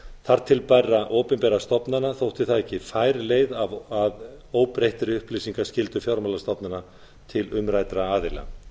þar til bærra opinberra stofnana þótti það ekki fær leið að óbreyttri upplýsingaskyldu fjármálastofnana til umræddra aðila